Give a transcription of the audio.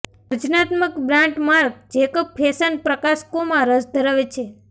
સર્જનાત્મક brand Marc Jacob fashion પ્રકાશકોમાં રસ ધરાવે છે